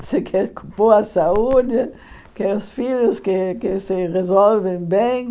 Você quer boa saúde, quer os filhos que que se resolvem bem.